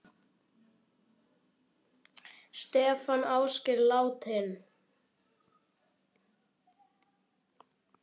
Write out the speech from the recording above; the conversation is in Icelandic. Athöfn fyrir unga sem aldna.